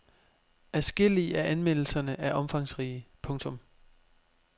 Adskillige af anmeldelserne er omfangsrige. punktum